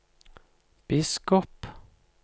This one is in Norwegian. biskop